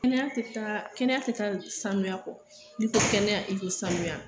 Kɛnɛya taa kɛnɛya tɛ taa saniya kɔ n'i ko kɛnɛya i ko saniya